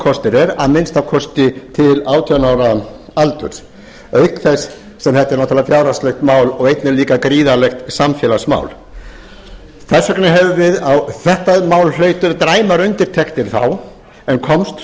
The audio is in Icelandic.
kostur er að minnsta kosti til átján ára aldurs auk þess sem þetta er náttúrlega fjárhagslegt mál og einnig líka gríðarlegt samfélagsmál þetta mál hlaut dræmar undirtektir þá en komst